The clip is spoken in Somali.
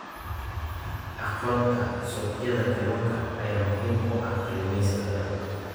Aqoonta suuqyada kalluunka ayaa muhiim u ah kalluumaysatada.